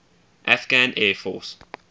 afghan air force